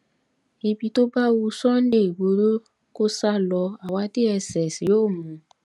ibi tó bá wu sunday igbodò kó sá lọ àwa dss yóò mú un